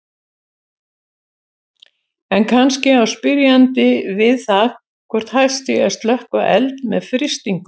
En kannski á spyrjandi við það hvort hægt sé að slökkva eld með frystingu.